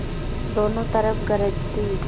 दोनों तरफ गरज थी